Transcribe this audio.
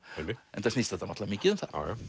enda snýst þetta mikið um það